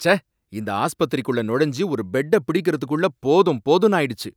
ச்சே! இந்த ஆஸ்பத்திரிக்குள்ள நுழைஞ்சு ஒரு பெட்ட பிடிக்கறதுக்குள்ள போதும் போதும்னு ஆயிடுச்சு